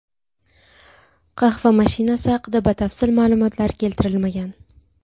Qahva mashinasi haqida batafsil ma’lumotlar keltirilmagan.